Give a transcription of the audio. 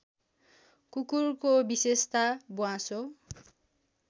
कुकुरको विशेषता ब्वाँसो